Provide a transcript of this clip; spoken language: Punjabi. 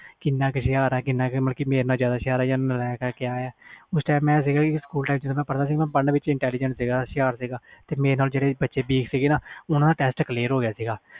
ਕਿੰਨਾ ਕਾ ਹੁਸਿਆਰ ਆ ਮੇਰਾ ਨਾਲੋਂ ਜਿਆਦਾ ਹੁਸਿਆਰ ਜਾ ਨਾਲੇਕ ਆ ਉਸ time ਮੈਂ ਸਕੂਲ ਵਿਚ ਪੜ੍ਹਨ ਵਿਚ intelligent ਸੀ ਮੇਰੇ ਨਾਲ ਜਿਹੜੇ ਬੱਚੇ weak ਸੀ ਉਹ ਹੋ clear ਗਏ ਸੀ